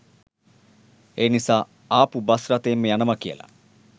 ඒ නිසා ආපු බස් රථයෙන්ම යනවා කියලා.